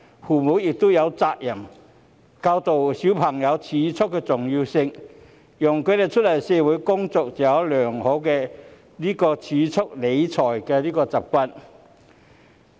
父母也有責任教導孩子儲蓄的重要性，讓他們出來社會工作後，擁有良好的儲蓄理財習慣。